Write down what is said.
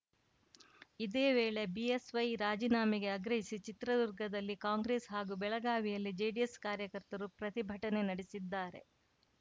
ಇದೇ ವೇಳೆ ಬಿಎಸ್‌ವೈ ರಾಜೀನಾಮೆಗೆ ಆಗ್ರಹಿಸಿ ಚಿತ್ರದುರ್ಗದಲ್ಲಿ ಕಾಂಗ್ರೆಸ್‌ ಹಾಗೂ ಬೆಳಗಾವಿಯಲ್ಲಿ ಜೆಡಿಎಸ್‌ ಕಾರ್ಯಕರ್ತರು ಪ್ರತಿಭಟನೆ ನಡೆಸಿದ್ದಾರೆ